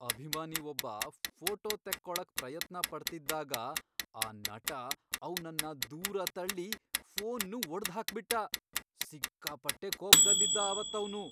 ಅಭಿಮಾನಿ ಒಬ್ಬ ಫೋಟೋ ತೆಕ್ಕೊಳಕ್ ಪ್ರಯತ್ನ ಪಡ್ತಿದ್ದಾಗ ಆ ನಟ ಅವ್ನನ್ನ ದೂರ ತಳ್ಳಿ ಫೋನ್ನೂ ಒಡ್ದ್ಹಾಕ್ಬಿಟ್ಟ. ಸಿಕ್ಕಾಪಟ್ಟೆ ಕೋಪ್ದಲ್ಲಿದ್ದ ಅವತ್ತವ್ನು.